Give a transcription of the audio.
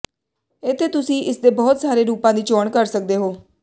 ਇੱਥੇ ਤੁਸੀਂ ਇਸਦੇ ਬਹੁਤ ਸਾਰੇ ਰੂਪਾਂ ਦੀ ਚੋਣ ਕਰ ਸਕਦੇ ਹੋ